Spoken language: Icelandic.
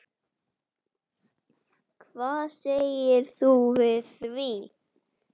Hvað segir þú við því?